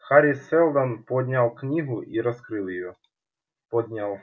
хари сэлдон поднял книгу и раскрыл её поднял